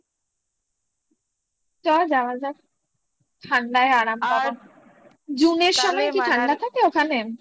চল যাওয়া যাক ঠান্ডায় আরাম পাবো June -এর সময় কি ঠান্ডা থাকে ওখানে